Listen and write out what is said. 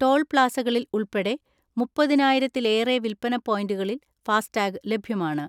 Toll പ്ലാസകളിൽ ഉൾപ്പെടെ മുപ്പതിനായിരത്തിലേറെ വിൽപ്പന പോയിൻറുകളിൽ ഫാസ്ടാഗ് ലഭ്യമാണ്.